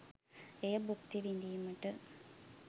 එය භුක්ති විදීමට?